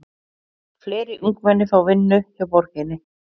Fleiri ungmenni fá vinnu hjá borginni